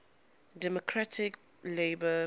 democratic labour party